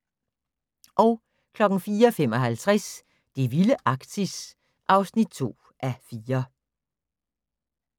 04:55: Det vilde Arktis (2:4)